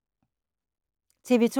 TV 2